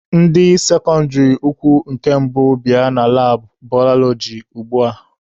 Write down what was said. Ndị sekọndịrị ukwu nke mbụ bịa na labụ balọọji ugbua!